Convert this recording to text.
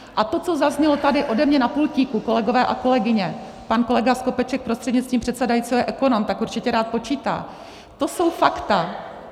A to, co zaznělo tady ode mě na pultíku, kolegové a kolegyně, pan kolega Skopeček prostřednictvím předsedajícího je ekonom, tak určitě rád počítá, to jsou fakta.